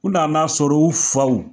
U nan'a sɔrɔ u faw